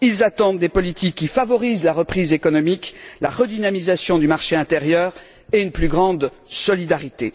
Ils attendent des politiques qui favorisent la reprise économique, la redynamisation du marché intérieur et une plus grande solidarité.